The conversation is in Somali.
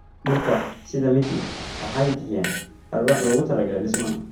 Dhirta sida miti waxay bixiyaan alwaax loogu talagalay dhismaha.